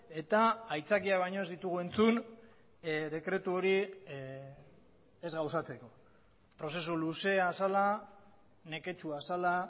eta aitzakia baino ez ditugu entzun dekretu hori ez gauzatzeko prozesu luzea zela neketsua zela